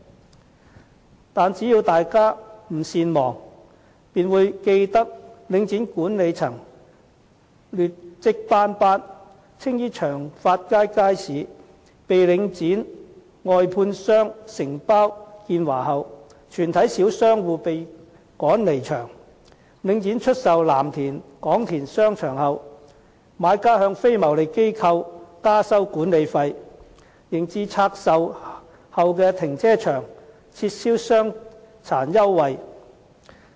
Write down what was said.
可是，只要大家不善忘，便會記得領展管理層劣績斑斑，青衣長發街街市被領展外判予承包商建華後，全體小商戶被趕離場；領展出售藍田廣田商場後，買家向非牟利機構加收管理費，及至向拆售後的停車場撤銷傷殘優惠。